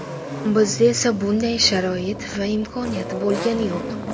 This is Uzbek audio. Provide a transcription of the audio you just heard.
Bizda esa bunday sharoit va imkoniyat bo‘lgani yo‘q.